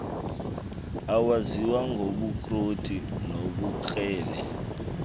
ezaziwa ngobukroti nobukrele